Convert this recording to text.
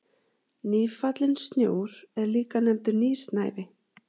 Nýfallinn snjór er líka nefndur nýsnævi.